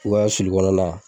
sulu kɔnɔni.